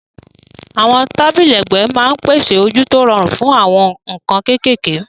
Àwọn tábìlì ẹ̀gbẹ́ máa ń pèsè ojú tó rọrùn fún àwọn nǹkan kéékèèké.